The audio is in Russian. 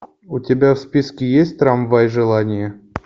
у тебя в списке есть трамвай желания